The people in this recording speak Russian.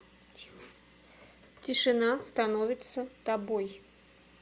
тишина становится тобой